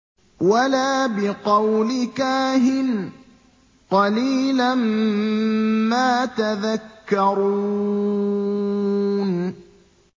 وَلَا بِقَوْلِ كَاهِنٍ ۚ قَلِيلًا مَّا تَذَكَّرُونَ